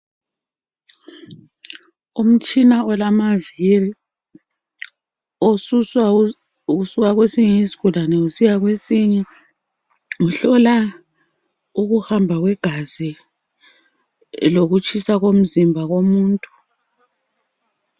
Umtshina olamavili osuswa kwesinye isigulane usiya kwesinye. Uhlola ukuhamba kwegazi lokutshisa komzimba komuntu.